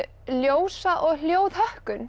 ljósa og